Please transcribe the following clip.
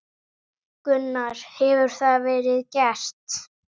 Gunnar: Hefur það verið gert?